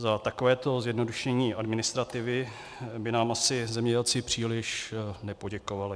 Za takovéto zjednodušení administrativy by nám asi zemědělci příliš nepoděkovali.